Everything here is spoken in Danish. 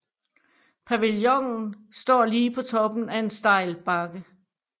Pavillonen står lige på toppen af en stejl bakke